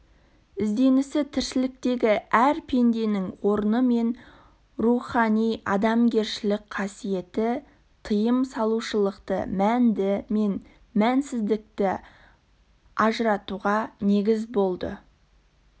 ізденісі тіршіліктегі әр пенденің орны мен руханиадамгершілік қасиеті тыйым салушылықты мәнді мен мәнсіздікті ажыратуға негіз болды